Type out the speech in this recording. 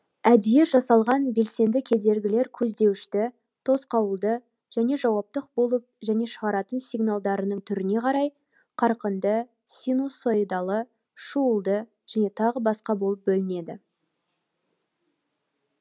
әдейі жасалған белсенді кедергілер көздеуішті тосқауылды және жауаптық болып және шығаратын сигналдарының түріне қарай қарқынды синусоидалы шуылды және тағы басқа болып бөлінеді